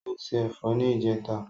O ṣé ẹ̀fọ́ ní ìjẹta.